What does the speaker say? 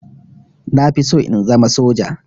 Na fi so in zama soja